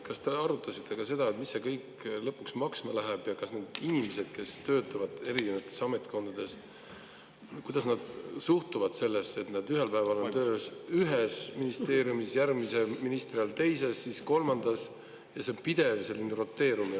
Kas te arutasite ka seda, mis see kõik lõpuks maksma läheb ja kuidas need inimesed, kes töötavad eri ametkondades, suhtuvad sellesse, et nad ühel päeval on tööl ühes ministeeriumis, järgmise ministri ajal teises, siis kolmandas?